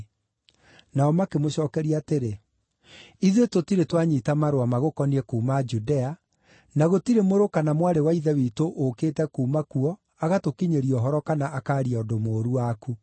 Nao makĩmũcookeria atĩrĩ, “Ithuĩ tũtirĩ twanyiita marũa magũkoniĩ kuuma Judea, na gũtirĩ mũrũ kana mwarĩ wa Ithe witũ ũũkĩte kuuma kuo agatũkinyĩria ũhoro kana akaaria ũndũ mũũru waku.